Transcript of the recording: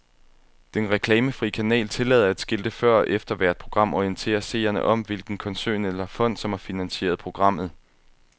Den reklamefrie kanal tillader, at skilte før og efter hvert program orienterer seerne om, hvilken koncern eller fond, som har finansieret programmet.